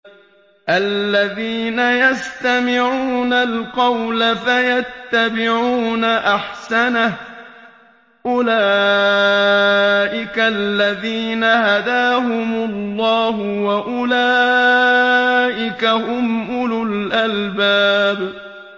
الَّذِينَ يَسْتَمِعُونَ الْقَوْلَ فَيَتَّبِعُونَ أَحْسَنَهُ ۚ أُولَٰئِكَ الَّذِينَ هَدَاهُمُ اللَّهُ ۖ وَأُولَٰئِكَ هُمْ أُولُو الْأَلْبَابِ